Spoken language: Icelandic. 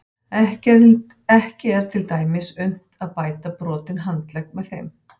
Ekki er til dæmis unnt að bæta brotinn handlegg með þeim.